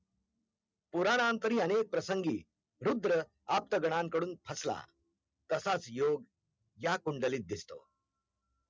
पूरानंतरी अनेक प्रसंगी रुद्रा आप्त गानांकडून फसला तसाच योगया कुंडलीत दिसतो,